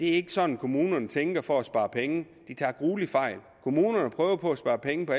er sådan kommunerne tænker for at spare penge tager grueligt fejl kommunerne prøver på at spare penge på